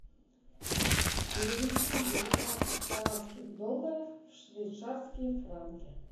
перевести девятнадцать канадских долларов в швейцарские франки